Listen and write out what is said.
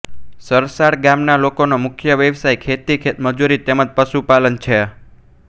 સરસાડ ગામના લોકોનો મુખ્ય વ્યવસાય ખેતી ખેતમજૂરી તેમ જ પશુપાલન છે